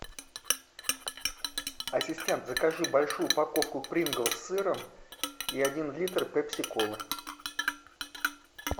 ассистент закажи большую упаковку принглс с сыром и один литр пепси колы